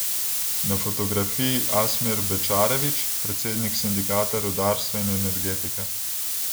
Na fotografiji Asmir Bečarević, predsednik sindikata rudarstva in energetike.